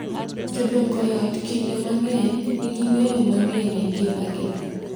Jodongo e ot kinde mang’eny nigi ng’eyo mang’eny e ngimagi .